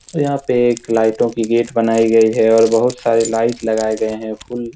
और यहाँ पे एक लाईटो की गेट बनाई गई है और बहुत सारे लाइट लगाये गए है फूल --